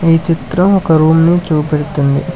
ఈ చిత్రం ఒక రూమ్ నీ చూపెడుతుంది.